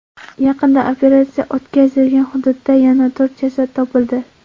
Yaqinda operatsiya o‘tkazilgan hududda yana to‘rt jasad topildi.